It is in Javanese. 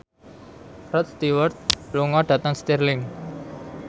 Rod Stewart lunga dhateng Stirling